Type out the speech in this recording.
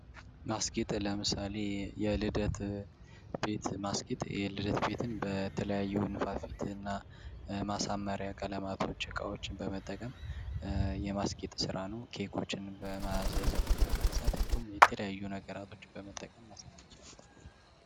ማስጌጥ ለምሳሌ የልደት ቤት ማስጌጥ፦ የልደት ቤትን በተለያዩ ንፋፊትና ማሳመሪያ ቀለማትን እቃዎችን በመጠቀም የማስጌጥ ስራ ነው ኬኮችንም በማዘዝና በመግዛት እንዲሁም የተለያዩ ነገሮች በመጠቀም ማስጌጥ ይቻላል።